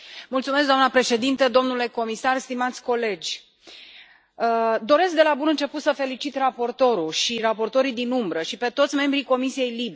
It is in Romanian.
Domnule Președinte, domnule comisar, stimați colegi, doresc de la bun început să felicit raportorul și raportorii din umbră și pe toți membrii Comisiei LIBE.